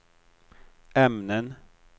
ämnen